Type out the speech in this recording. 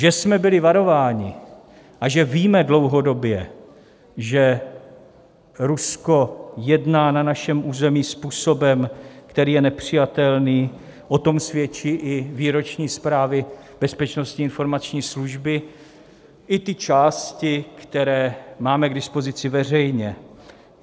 Že jsme byli varováni a že víme dlouhodobě, že Rusko jedná na našem území způsobem, který je nepřijatelný, o tom svědčí i výroční zprávy Bezpečnostní informační služby, i ty části, které máme k dispozici veřejně.